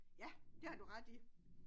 Ja det har du ret i